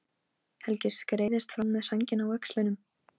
Helgi skreiðist fram með sængina á öxlunum.